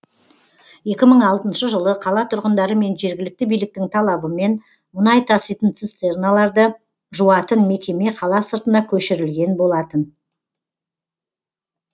екі мың алтыншы жылы қала тұрғындары мен жергілікті биліктің талабымен мұнай таситын цистерналарды жуатын мекеме қала сыртына көшірілген болатын